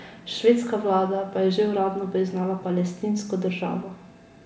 Švedska vlada pa je že uradno priznala Palestinsko državo.